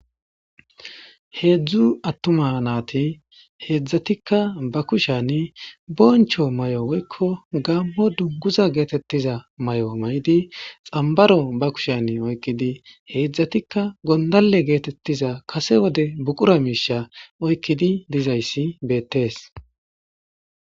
Heedzdzu attuma naati heedzdzatikka ba kushani boncho may7o woykko gaammo dunguza geetettiza may7o may7idi xambaro ba kushani oykkidi heedzdzatikka gondale geetettiza kase wode buqura miisha oykkidi dizayssi beettees.